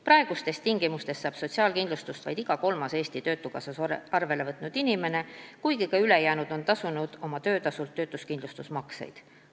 Praegustes tingimustes saab sotsiaalkindlustust vaid iga kolmas end Eesti Töötukassas arvele võtnud inimene, kuigi ka ülejäänud on tasunud oma töötasult töötuskindlustusmakseid.